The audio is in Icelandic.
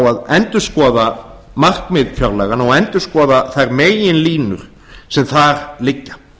að endurskoða markmið fjárlaganna og endurskoða þær meginlínur sem þar liggja